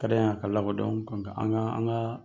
Ka d'an ye a ka lakɔdɔn an ka an k'an